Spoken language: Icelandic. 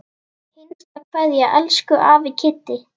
HINSTA KVEÐJA Elsku afi Kiddi.